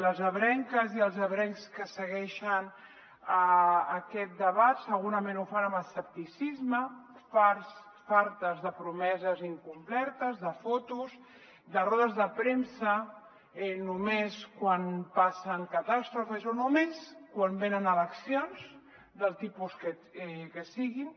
les ebrenques i els ebrencs que segueixen aquest de·bat segurament ho fan amb escepticisme farts fartes de promeses incomplertes de fotos de rodes de premsa només quan passen catàstrofes o només quan venen elec·cions del tipus que siguin